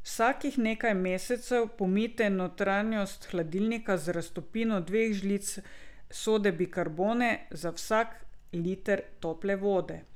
Vsakih nekaj mesecev pomijte notranjost hladilnika z raztopino dveh žlic sode bikarbone za vsak liter tople vode.